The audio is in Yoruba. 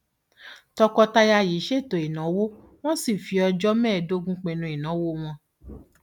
tọkọtaya yìí ṣètò ìnáwó wọn sì fi ọjọ mẹẹẹdógún pinnu ìnáwó wọn